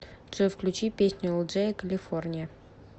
джой включи песню элджея калифорния